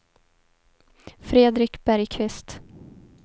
Fredrik Bergqvist